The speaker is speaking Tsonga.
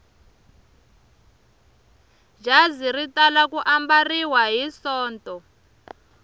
jazi ri tala ku ambariwa hi sonto